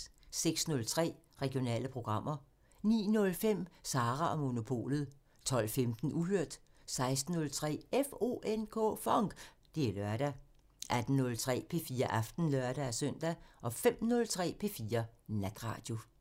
06:03: Regionale programmer 09:05: Sara & Monopolet 12:15: Uhørt 16:03: FONK! Det er lørdag 18:03: P4 Aften (lør-søn) 05:03: P4 Natradio